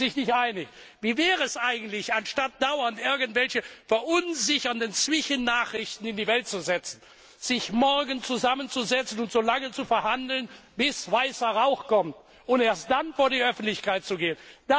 Darüber sind sie sich nicht einig. Wie wäre es eigentlich, anstatt dauernd irgendwelche verunsichernden Zwischennachrichten in die Welt zu setzen, sich morgen zusammenzusetzen und solange zu verhandeln, bis weißer Rauch kommt, und erst dann vor die Öffentlichkeit zu treten?